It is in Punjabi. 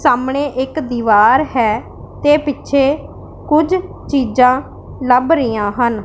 ਸਾਹਮਣੇ ਇੱਕ ਦੀਵਾਰ ਹੈ ਤੇ ਪਿੱਛੇ ਕੁਝ ਚੀਜ਼ਾਂ ਲੱਭ ਰਹੀਆਂ ਹਨ।